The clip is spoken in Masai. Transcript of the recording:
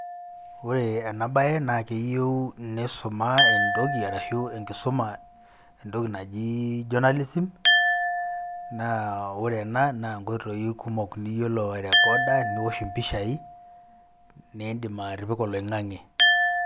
kore anaa bai naa keyeu neisumaa entokii arashuu enkisumaa ntokii najii jonalism naa oree anaa naa nkoiteyuu kumok niyoloo airekodoo, niwosh mpishai nendim atipikaa loingangee.